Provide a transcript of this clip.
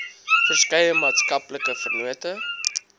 verskeie maatskaplike vennote